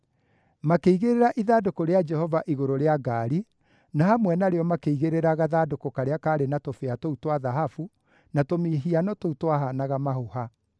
Makĩigĩrĩra ithandũkũ rĩa Jehova igũrũ rĩa ngaari, na hamwe narĩo makĩigĩrĩra gathandũkũ karĩa kaarĩ na tũbĩa tũu twa thahabu na tũmĩhiano tũu twahaanaga mahũha.